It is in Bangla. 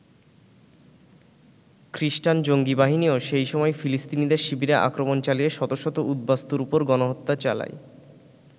খ্রিষ্টান জঙ্গি বাহিনীও সেই সময় ফিলিস্তিনিদের শিবিরে আক্রমণ চালিয়ে শত শত উদ্বাস্তুর ওপর গণহত্যা চালায়।